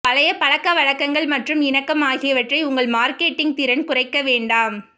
பழைய பழக்கவழக்கங்கள் மற்றும் இணக்கம் ஆகியவற்றை உங்கள் மார்க்கெட்டிங் திறன் குறைக்க வேண்டாம்